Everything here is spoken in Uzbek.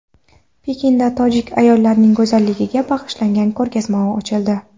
Pekinda tojik ayollarining go‘zalligiga bag‘ishlangan ko‘rgazma ochildi .